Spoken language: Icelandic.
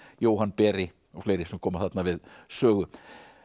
Jóhann beri og fleiri sem koma þarna við sögu